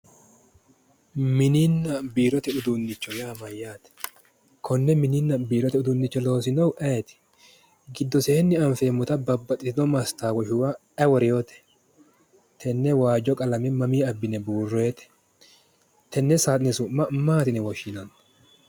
Mininna biirote uduunnicho yaa mayyaate? Konne mininna biirote uduunnicho loosinohu ayeet? Giddoseenni anfeenmota mastawotubba ayi worinote? Tenne waajjo qalame ayi buurewote? Tenne saaxine su'ma maati yine woshshinanni?